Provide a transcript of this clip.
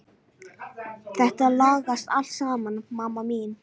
Þetta lagast allt saman mamma mín.